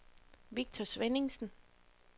Victor Svenningsen